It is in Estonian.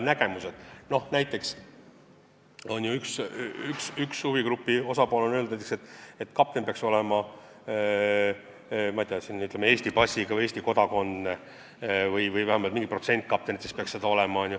Näiteks on üks huvigrupp öelnud, et kapten peaks olema, ütleme, Eesti passiga, Eesti kodanik või vähemalt mingi protsent kaptenitest peaks seda olema.